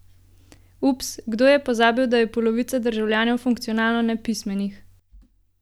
Ups, je kdo pozabil, da je polovica državljanov funkcionalno nepismenih?